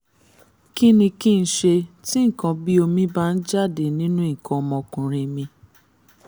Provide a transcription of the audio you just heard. kí ni kí n ṣe tí nǹkan bí omi bá ń jáde nínú nǹkan ọmọkùnrin mi?